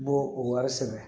N b'o o wari sɛgɛrɛ